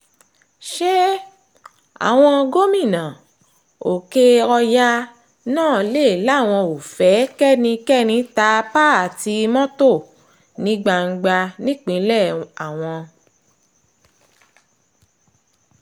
ṣé àwọn gómìnà òkè-ọ̀yà náà le làwọn ò fẹ́ kẹ́nikẹ́ni ta páàtì mọ́tò ní gbangba nípínlẹ̀ àwọn